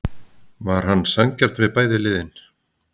Var hann sanngjarn við bæði liðin?